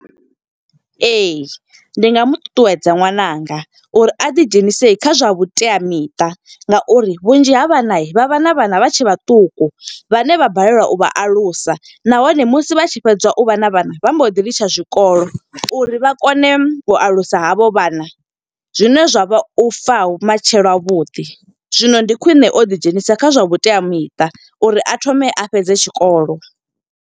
Ee. ndi nga mu ṱuṱuwedza ṅwananga uri a ḓi dzhenise kha zwa vhuteamiṱa nga uri vhunzhi ha vhana, vha vha na vhana vha tshe vhaṱuku. Vhane vha balelwa u vha alusa, nahone musi vha tshi fhedza u vha na vhana, vha mbo ḓi litsha tshikolo. Uri vha kone u alusa ha vho vhana, zwine zwa vha u fa ha vhumatshelo ha vhuḓi. Zwino ndi khwiṋe, o ḓi dzhenisa kha zwa vhuteamiṱa uri a thome a fhedze tshikolo.